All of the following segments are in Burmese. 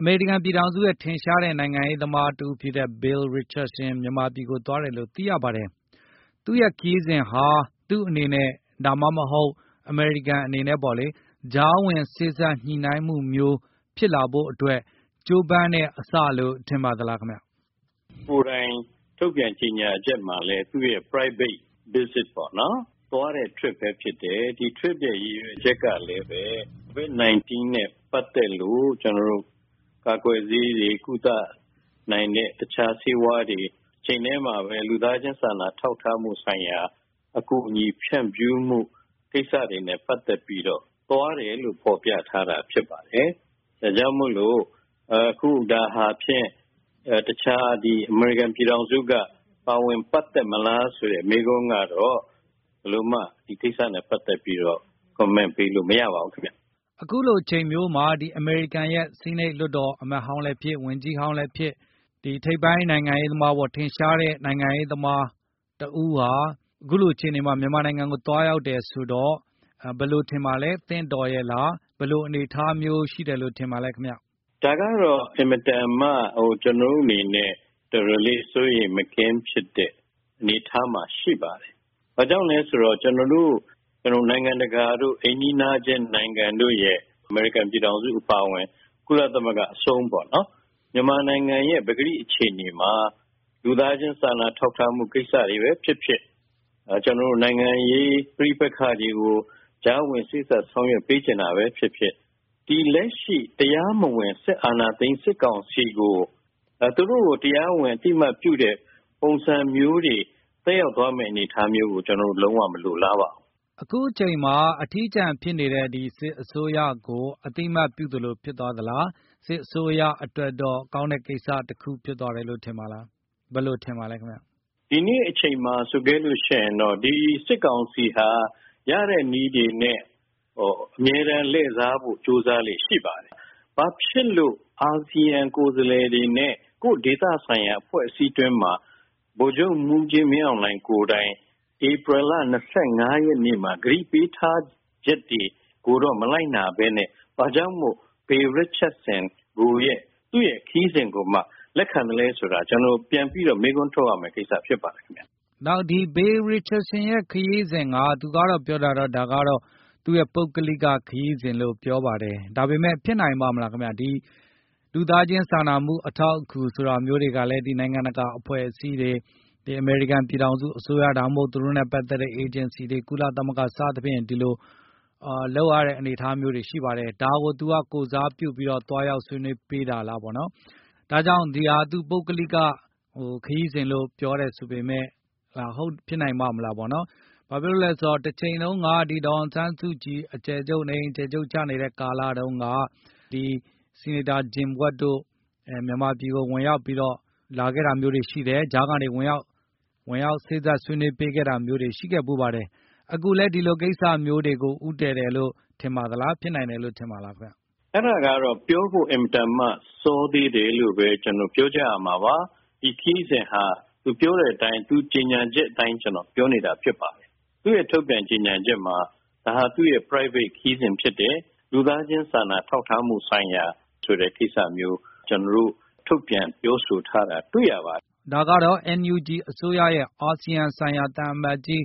အမေရိကန်ပြည်ထောင်စုရဲ့ထင်ရှားတဲ့နိုင်ငံရေးသမားတဦးဖြစ်တဲ့ Bill Richardson မြန်မာပြည်ကိုသွား တယ်လို့သိရပါတယ်။ သူ့ရဲ့ခရီးစဉ်ဟာ သူ့အနေနဲ့ ဒါမှမဟုတ် အမေရိကန်အနေနဲ့ပေါ့လေ ကြားဝင်စေ့ စပ်ညှိနိုင်းမှုမျိုး ဖြစ်လာဖို့အတွက်ကြိုးပမ်းတဲ့အစလို့ထင်ပါသလားခင်ဗျ။ ဦးဘိုလှတင့်။ ။ သူကိုယ်တိုင်ထုတ်ပြန်ကြေငြာချက်မှာလည်း သူ့ရဲ့ Private visit သွားတဲ့ Trip ဘဲဖြစ်တယ်။ ဒီ Trip ရဲ့ရည်ရွယ်ချက်ကလည်းဘဲ၊ ကိုဗစ် ၁၉ နဲ့ပတ်သက်လို့၊ ကျနော်တို့၊ ကာ ကွယ်ဆေးတွေ၊ ကုသနိုင်တဲ့တခြားဆေးဝါးတွေတချိန်ထဲမှာ လူသားခြင်းစာနာထောက်ထားမှုဆိုင်ရာ အကူအညီဖြန့်ဖြူးမှုကိစ္စတွေနဲ့ပတ်သက်လို့သွားတယ်လို့ဖေါ်ပြထားတာဖြစ်ပါတယ်။ ဒါကြောင့်မို့လို့ အခုဒါဟာဖြင့်တခြားအမေရိကန်ပြည်ထောင်စုကပါဝင်ပတ်သက်မလား ဆိုတဲ့မေးခွန်းကတော့ ဘယ်လိုမှဒီကိစ္စနဲ့ပတ်သက်ပြီးတော့ Comment ပေးလို့မရပါဘူးခင်ဗျ။ ကိုဇော်မိုးကျော်။ ။ အခုလိုအချိန်မျိုးဟာ အမေရိကန်ရဲ့ဆီးနိတ်လွှတ်တော်အမတ်ဟောင်းလည်းဖြစ်၊ ဝန်ကြီးဟောင်း လည်းဖြစ်၊ ဒီထိပ်ပိုင်းနိုင်ငံရေးသမား၊ ထင်ရှားတဲ့နိုင်ငံရေးသမားတဦးဟာ အခုလိုအခြေအနေမှာ မြန်မာနိုင်ငံကိုသွားရောက်တယ်ဆိုတော့ ဘယ်လိုထင်ပါသလဲ၊ သင့်တော်ရဲ့လား၊ ဘယ်လိုအနေ အထားမျိုးရှိတယ်ထင်ပါသလဲခင်ဗျ။ ဦးဘိုလှတင့်။ ။ ဒါကတော့အင်မတန်မှ၊ ဟို ကျနော်တို့အနေနဲ့အတော်တော်လေးစိုးရိမ်မကင်း ဖြစ်တဲ့အနေအထား မှာရှိပါတယ်။ ဘာကြောင့်လည်းဆိုတော့ ကျနော်တို့ နိုင်ငံတကာတိုအိမ်နီးခြင်းနိုင်ငံတို့နဲ့ အမေရိကန် ပြည်ထောင်စုအပါအဝင် ကုသမဂ္ဂအဆုံးပေါ့နော်၊ မြန်မာနိုင်ငံရဲ့ပကတိအခြေအနေမှာလူသားခြင်းစာနာ ထောက်ထားမှုကိစ္စတွေဘဲဖြစ်ဖြစ်၊ ကျနော်တို့နိုင်ငံရေး ပဋိပက္ခတွေကို ကြားဝင်စေ့စပ်ဆောင်ရွက်ပေး ချင်တာဘဲဖြစ်ဖြစ်၊ ဒီလက်ရှိတရားမဝင် စစ်အာဏာသိမ်း စစ်ကောင်စီကို သူတို့ကိုတရားဝင်အသိ အမှတ်ပြုတဲ့ ပုံစံမျိုးတွေသက်ရောက်သွားမယ့် အနေအထားမျိုးကို ကျနော်တို့လုံးဝမလိုလားပါဘူး။ ကိုဇော်မိုးကျော်။ ။ အခုအချိန်အမှာအထီးကျန်ဖြစ်နေတဲ့ ဒီ စစ်အစိုးရကိုအသိအမှတ်ပြုသလိုဖြစ်သွားသလား၊ စစ်အစိုးရ အတွက်တော့ကောင်းတဲ့ကိစ္စတခုဖြစ်သွားတယ်လို့ထင်ပါသလား၊ ဘယ်လိုထင်ပါသလဲခင်ဗျ။ ဦးဘိုလှတင့်။ ။ဒီနေ့အချိန်မှာဆိုခဲ့လို့ရှိရင်တော့ ဒီ စစ်ကောင်စီဟာ ရတဲ့နည်းတွေနဲ့၊ ဟိုအမြဲတမ်းလှည့်စားဖို့ကြိုးစား လေ့ရှိပါတယ်။ ဘာဖြစ်လို့ အာဆီယံကိုယ်စားလှယ်တွေနဲ့ ကိုယ့်ဒေသဆိုင်ရာအဖွဲ့အစည်းထဲမှာ ဗိုလ်ချုပ်မှုးကြီးမင်းအောင်လှိုင်ကိုယ်တိုင် ဧပြီလ ၂၅ ရက်နေ့မှာ ကတိပေးထားချက်တွေကိုတော့ မလိုက်နာဘဲ ဘာကြောင့်မို့ Bill Richardson ရဲ့ခရီးစဉ်ကိုမှလက်ခံလည်းဆိုတာကျနော်တို့ပြန်ပြီးမေး ခွန်းထုတ်ရမယ့် ကိစ္စဖြစ်ပါတယ်ခင်ဗျ။ ကိုဇော်မိုးကျော်။ ။နောက်ဒီ Bill Richardson ရဲ့ ခရီးစဉ်ဟာ သူကတော့ပြောတာကတော့၊ ဒါကတော့ သူ့ရဲ့ပုဂ္ဂလိက ခရီးစဉ်လို့ပြောပါတယ်။ ဒါပေမယ့်ဖြစ်နိုင်ပါ့မလားခင်ဗျ။ ဒီ လူသားချင်းစာနာမှုအထောက်အကူ ဆိုတာမျိုးတွေကလည်း နိုင်ငံကတာအဖွဲ့အစည်းတွေ အမေရိကန်ပြည်ထောင်စုအစိုးရ ဒါမှမဟုတ် ကုလသမဂ္ဂ စသည်ဖြင့် ဒီလိုလုပ်ရတဲ့ လုပ်ရတဲ့အနေအထားမျိုးတွေရှိပါတယ်။ ဒါကိုသူကကိုယ်စားပြု ပြီးသွားရောက်ဆွေးနွေးပေးတာလားပေါ့နော်။ ဒါကြောင့်ဒါဟာ သူ့ရဲ့ ပုဂ္ဂလိက ခရီးစဉ်လို့ပြောတယ် ဆိုပေမယ့်၊ ဟုတ်လား ဖြစ်နိုင်ပါ့မလားပေါ့နော်၊ ဘာဖြစ်လို့လဲဆိုတော့တချိန်တုန်းက ဒီဒေါ်အောင်ဆန်းစုကြည် အကျယ်ချုပ်နေအိမ်အကျယ်ချုပ် နေအိမ်အကျယ်ချုပ်ကျနေတဲ့ကာက လတုန်းက ဒီ ဆီနိတ်တာ ဂျင် ဝက် တို့ မြန်မာပြည်ကိုလာခဲ့တာမျိုးတွေရှိတယ်၊ ကြားကနေဝင်ရောက်စေ့စ့ပ်ဆွေးနွေး ပေးခဲ့တာမျိုးတွေရှိခဲ့ဖူးပါတယ်။ အခုလည်း ဒီလိုကိစ္စတွေကိုဦး တည်တယ်လို့ထင်ပါသလားခင်ဗျ၊ ဖြစ်နိုင်တယ်လို့ထင်ပါသလားခင်ဗျ။ ဦးဘိုလှတင့်။ ။ အဲဒါကတော့ ပြောဖို့အင်မတန်မှာစောသေးတယ်လိုဘဲ ကျနော်တို့ပြောကြရမှာပါ။ ဒီခရီးစဉ်ဟာ သူပြောတဲ့အတိုင်း၊ သူ့ကြေငြာချက်အတိုင်းပြောနေတာဖြစ်ပါတယ်။ သူ့ရဲ့ထုတ်ပြန်ကြေငြာချက်မှာ ဒါဟာသူ့ရဲ့ private ခရီးစဉ်ဖြစ်တယ်။ လူသားခြင်းစာနာထောက်ထားမှုဆိုင်ရာ ဆိုတဲ့ကိစ္စမျိုး ကျနော်တို့ ထုတ်ပြန်ကြေငြာထားတာတွေ့ရပါတယ် ဒါကတော့ NUG အစိုးရရဲ့ အာဆီယံဆိုင်ရာသံအမတ်ကြီး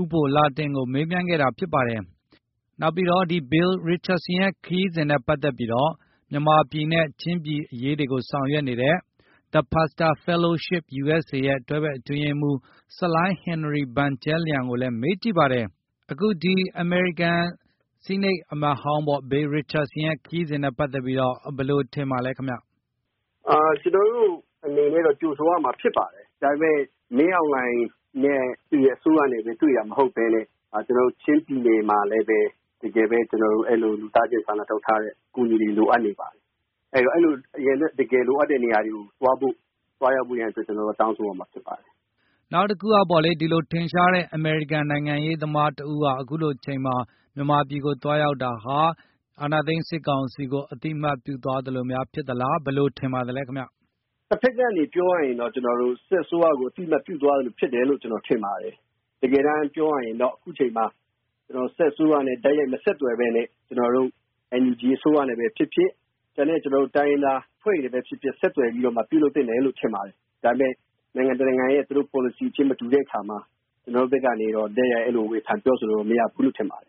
ဦးဘိုလှတင့်ကိုမေးမြန်းခဲ့တာဖြစ်ပါတယ်။ နောက်ပြီးတော့ ဒီ Bill Richardson ရဲ့ ခရီးစဉ်နဲ့ပတ်သက်ပြီးတော့ မြန်မာပြည်နဲ့ချင်းပြည်အရေးတွေ ကိုဆောင်ရွက်နေတဲ့ The Pastor Fellowship USA ရဲ့ တွဲဘက်အတွင်းရေးမှုဖြစ်တဲ့ ဆလိုင်း ဟင်နရီ ဘန်ကျဲလျံ ကိုလည်းမေးကြည့်ပါတယ်။ ကိုဇော်မိုးကျော်။ ။ အခုဒီ အမေရိကန်ဆီးနိတ်အမတ်ဟောင်းပေါ့ Bill Richardson ရဲ့ ခရီးစဉ်နဲ့ပတ်သက်ပြီးတော့ ဘယ်လိုထင်ပါသလဲခင်ဗျ။ ဆလိုင်း ဟင်နရီ ဘန်ကျဲလျံ။ ။ ကျနော်တို့အနေနဲ့ကတော့ ကြိုဆိုရမှာဖြစ်ပါတယ်။ ဒါပေမယ့် မင်းအောင်လှိုင်နဲ့ သူ့ရဲ့အစိုးရနဲ့ ဘဲတွေ့တာ မဟုတ်ဘဲနဲ့၊ ကျနော်တု့ိချင်းပြည်နယ်မှာလည်းဘဲ တကယ်ဘဲ ကျနော်တို့ အဲလိုသူသား ခြင်းစာနာထောက်ထားတဲ့ အကူအညီတွေလိုအပ်နေပါတယ်။ အဲလို တကယ်လိုအပ်နေတဲ့နေရာတွေ ကိုသွားဖို့ သွားရောက်ဖို့ရန်ကျနော်တို့ကတောင်းဆိုရမှာဖြစ်ပါတယ်။ ကိုဇော်မိုးကျော်။ ။ အခုလို ထင်ရှားတဲ့အမေရိကန် နိုင်ငံရေးသမားတဦးကအခုလိုအချိန်မှာ မြန်မာပြည်ကိုသွားရောက်တာ ဟာ အာဏာသိမ်းစစ်ကောင်စီကို အာဏာသိမ်းစစ်ကောင်စီကို အသိအမှတ်ပြုသွားသ လိုများဖြစ် သလား၊ ဘယ်လိုထင်ပါသလဲခင်ဗျ။ ဆလိုင်း ဟင်နရီ ဘန်ကျဲလျံ။ ။ တဘက်နေပြောရရင်တော့ ကျနော်တို့စစ်အရကို အသိအမှတ်ပြုသလိုဖြစ်သွားသလိုဖြစ်သွားတယ်လို့ ကျနော်ထင်ပါတယ်။ တကယ်တမ်းပြောရရင်တော့ အခုအချိန်မှာကျနော်တို့ စစ်အစိုးရနဲ့ တိုက်ရိုက် မဆက်သွယ်ဘဲနဲ့ ကျနော်တို့ NUG အစိုးရနဲဘဲဖြစ်ဖြစ်၊ ကျန်တဲ့ကျနော်တို့ တိုင်းရင်းသားအဖွဲ့တွေနဲ့ ဘဲဖြစ်ဖြစ် ဆက်သွယ်ပြီးတော့ပြုလုပ်သင့်တယ်လို့ဘဲ ထင်ပါတယ်။ ဒါပေမယ့် နိုင်ငံတနိုင်ငံရဲ့ သူတို့ policy ခြင်းမတူတဲ့အခါမှာ ကျနော်တို့ဖက်ကနေတော့ အဲ့လိုတိုက်ရိုက် ဝေဖန်ပြောဆိုလို့ မရဘူးလို့ထင်ပါတယ်။